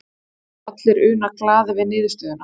geta þá allir unað glaðir við niðurstöðuna